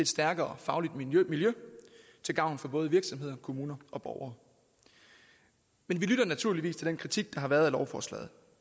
stærkere fagligt miljø til gavn for både virksomheder kommuner og borgere men vi lytter naturligvis til den kritik der har været af lovforslaget